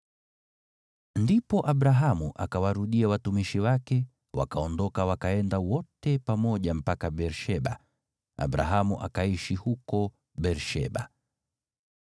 Ndipo Abrahamu akawarudia watumishi wake, wakaondoka wakaenda wote pamoja mpaka Beer-Sheba. Abrahamu akaishi huko Beer-Sheba.